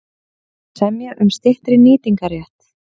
Semja um styttri nýtingarrétt